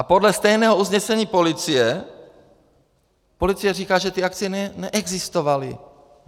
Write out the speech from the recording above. A podle stejného usnesení policie policie říká, že ty akcie neexistovaly.